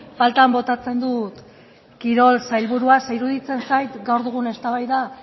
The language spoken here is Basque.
faltan botatzen dut kirol sailburua ze iruditzen zait gaur dugun eztabaida